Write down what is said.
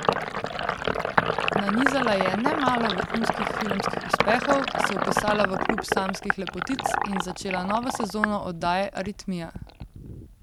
Nanizala je nemalo vrhunskih filmskih uspehov, se vpisala v klub samskih lepotic in začela novo sezono oddaje Aritmija.